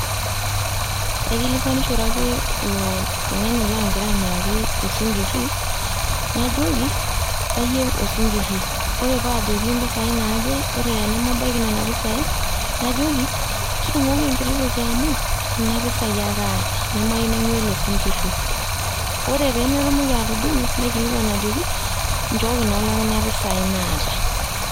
Aikilikwanishore ake ilo tung'ani laagira amiraki osinkiri, najoki, kayeu osinkiri, ore paajoki impesai naaje, ore tenemabaiki nena pesai, najoki, tudung'okoki enkiti toki amu kuna pesai ake aata nemayeu naing'ua ele sinkiri. Ore pee metumoki atudung'o, naikilikwan ajoki, nchooki naa too kuna pesai naata.